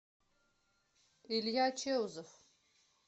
илья чеузов